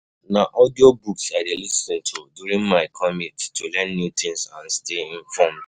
Na audiobooks I dey lis ten to during my commute to learn new things and stay informed.